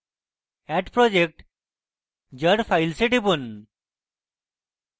add project jar files এ টিপুন